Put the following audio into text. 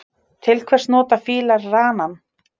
Til hvers nota fílar ranann?